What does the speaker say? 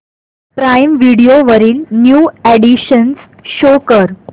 prime video वरील new additions show कर